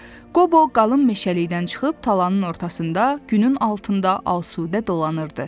Qobo qalın meşəlikdən çıxıb talanın ortasında günün altında asudə dolanırdı.